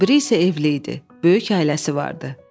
O biri isə evli idi, böyük ailəsi vardı.